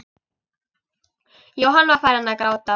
Jóhann var farinn að gráta.